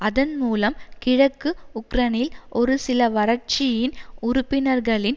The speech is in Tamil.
அதன் மூலம் கிழக்கு உக்ரைனில் ஒருசிலவரட்சியின் உறுப்பினர்களின்